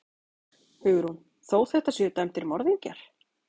Hugrún: Þó þetta séu dæmdir morðingjar?